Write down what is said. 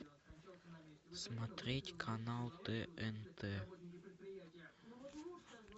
смотреть канал тнт